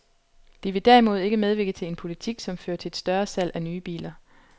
De vil derimod ikke medvirke til en politik, som fører til et større salg af nye biler.